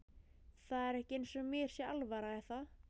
Það er ekki eins og mér sé alvara er það?